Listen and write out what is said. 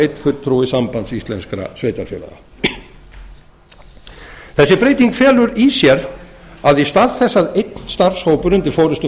einn fulltrúi sambands íslenskra sveitarfélaga þessi breyting felur í sér að í stað þess að einn starfshópur undir forustu